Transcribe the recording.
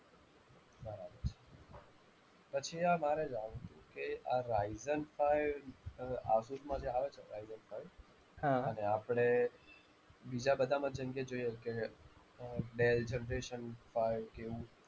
પછી આ મારે જાણવું હતું કે, આ Ryzen five asus માં જે આવે છે Ryzen five અને આપણે બીજા બધામાં જેમકે જોઈએ કે ડેલ generation five કે એવું,